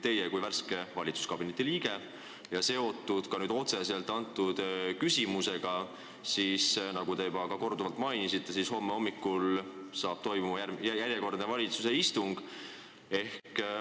Teie kui värske valitsuskabineti liige olete nüüd ka selle küsimusega otseselt seotud ja nagu te korduvalt mainisite, homme hommikul toimub järjekordne valitsuse istung.